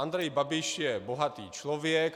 Andrej Babiš je bohatý člověk.